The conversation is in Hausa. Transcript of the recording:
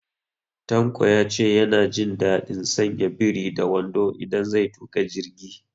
Tanko ya ce ya na jin daɗin sanya biri da wando idan zai tuƙa jirgi